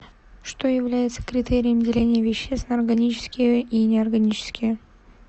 что является критерием деления веществ на органические и неорганические